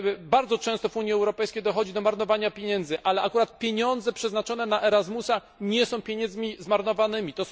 Bardzo często w Unii Europejskiej dochodzi do marnowania pieniędzy, ale akurat pieniądze przeznaczone na program ERASMUS nie są pieniędzmi zmarnowanymi.